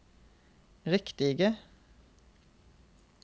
riktige